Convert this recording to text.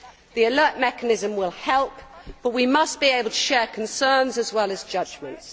The alert' mechanism will help, but we must be able to share concerns as well as judgements.